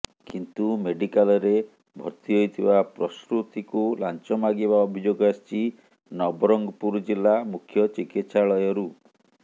କିନ୍ତୁ ମେଡିକାଲ ରେ ଭର୍ତି ହୋଇଥିବା ପ୍ରସୂତିକୁ ଲାଞ୍ଚ ମାଗିବା ଅଭିଯୋଗ ଆସିଛି ନବରଙ୍ଗପୁର ଜିଲ୍ଲା ମୁଖ୍ୟଚିକିତ୍ସାଳୟ ରୁ